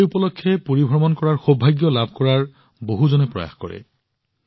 এই উপলক্ষে পুৰী ভ্ৰমণৰ বিশেষাধিকাৰ লাভ কৰাটো জনসাধাৰণৰ প্ৰয়াস